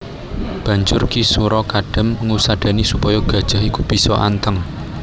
Banjur Ki sura Kadam ngusadani supaya gajah iku bisa anteng